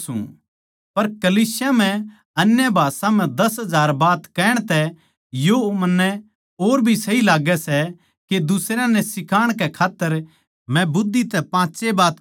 पर कलीसिया म्ह अन्य भाषा म्ह दस हजार बात कहण तै यो मन्नै और भी सही लाग्गै सै के दुसरयां नै सिखाण कै खात्तर मै बुद्धि तै पाँच ए बात कहूँ सकू